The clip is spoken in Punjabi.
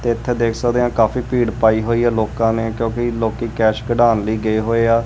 ਤੇ ਇੱਥੇ ਦੇਖ ਸਕਦੇ ਆ ਕਾਫੀ ਭੀੜ ਪਾਈ ਹੋਈ ਆ ਲੋਕਾਂ ਨੇ ਕਿਉਂਕਿ ਲੋਕੀ ਕੈਸ਼ ਕਢਾਣ ਲਈ ਗਏ ਹੋਏ ਆ।